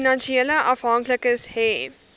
finansiële afhanklikes hê